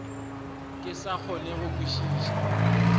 ke sa kgone go kwešiša